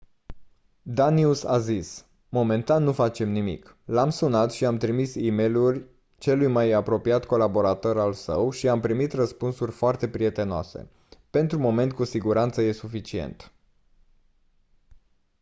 danius a zis: «momentan nu facem nimic. l-am sunat și i-am trimis e-mailuri celui mai apropiat colaborator al său și am primit răspunsuri foarte prietenoase. pentru moment cu siguranță e suficient.».